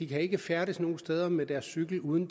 kan ikke færdes nogen steder med deres cykel uden